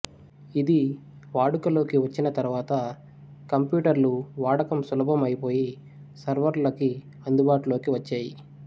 ఇది వాడుకలోకి వచ్చిన తరువాత కంప్యూటర్లు వాడడం సులభం అయిపోయి సర్వులకీ అందుబాటులోకి వచ్చేయి